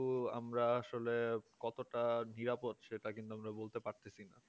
ও আমরা আসলে কতটা নিরাপদ সেটা কিন্তু আমরা বলতে পারছি না